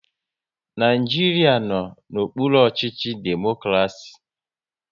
Naijiria n'okpuru ọchịchị democraci